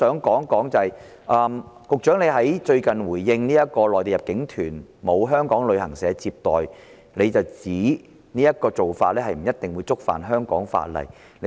此外，局長最近就內地入境團沒有香港旅行社接待一事作出回應，表示這做法不一定觸犯香港法例。